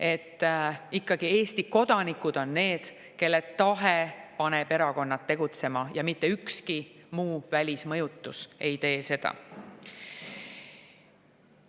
Et ikkagi Eesti kodanikud on need, kelle tahe paneb erakonnad tegutsema, ja mitte ükski välismõjutus ei tee seda.